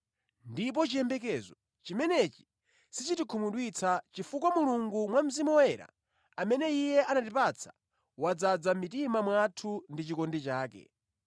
Ndipo chiyembekezo chimenechi sichitikhumudwitsa chifukwa Mulungu mwa Mzimu Woyera, amene Iye anatipatsa, wadzaza mʼmitima mwathu ndi chikondi chake.